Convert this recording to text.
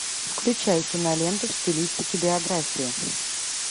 включай киноленту в стилистике биография